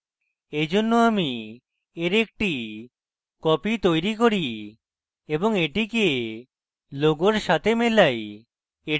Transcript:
এইজন্য আমি এর একটি copy তৈরী করি এবং এটিকে logo সাথে মেলাই